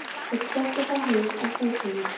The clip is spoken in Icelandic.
Þeir sóttu þá heim að húsunum.